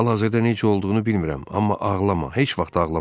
Hal-hazırda necə olduğunu bilmirəm, amma ağlama, heç vaxt ağlama.